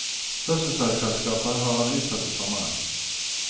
Fødselsdagsselskapet har han utsatt til sommeren.